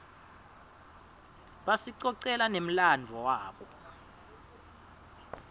basicocela nemladvo wabo